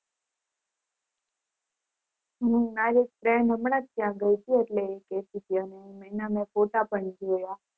હમ મારી friend હમણા જ ત્યાં ગય તી એટલે એ કેતી હતી મેં એના ફોટા પણ જોયા